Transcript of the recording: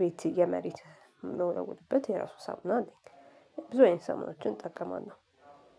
ቤት የመሬት የምንወለውልበት የራሱ ሳሙና አለ። ብዙ አይነት ሳሙናዎችን እጠቀማለሁና